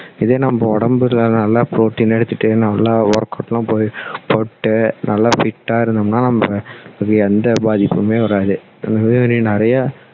இதே நம்ம உடம்புல நல்ல protein எடுத்துட்டு நல்லா work out லாம் போயிட்டு நல்லா fit டா இருந்தோம்னா நம்ம இது எந்த பாதிப்புமே வராது இந்த மாதிரி நிறைய